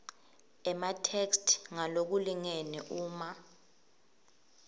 ematheksthi ngalokulingene uma